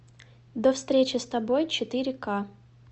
до встречи с тобой четыре ка